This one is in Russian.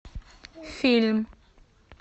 фильм